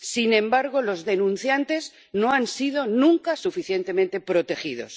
Sin embargo, los denunciantes no han sido nunca suficientemente protegidos.